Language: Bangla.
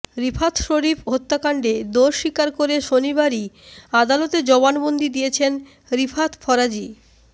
রিফাত শরীফ হত্যাকাণ্ডে দোষ স্বীকার করে শনিবারই আদালতে জবানবন্দি দিয়েছেন রিফাত ফরাজী